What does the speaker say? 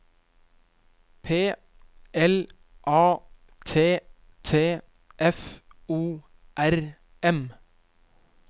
P L A T T F O R M